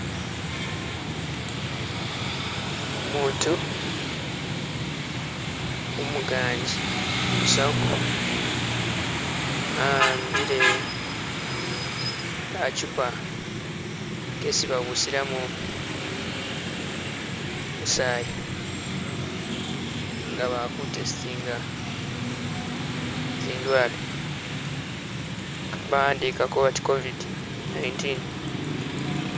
Umuutu umuganji, umusawo a'ambile kachupa kesi babusilamo musaayi nga bali ku testinga zindwale, bawandikako bati "covid 19"